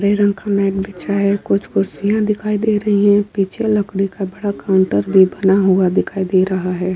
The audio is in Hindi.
हरे रंग का मैट बिछा है। कुछ कुर्सियाँ दिखाई दे रही हैं। पीछे लकड़ी का बड़ा काउंटर भी बना हुआ दिखाई दे रहा है।